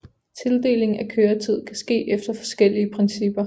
Tildeling af køretid kan ske efter forskellige principper